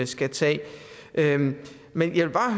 skal tage men jeg vil bare